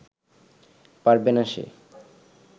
পারবে না সে